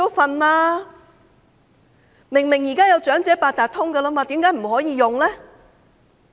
現在既然已有長者八達通，為何不可以使用呢？